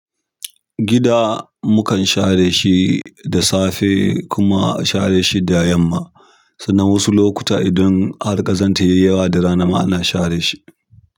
Gida mukan share shi da safe kuma a share shi da yamma. Sannan wasu lokuta idan har ƙazanta ya yi yawa da rana ma ana share shi.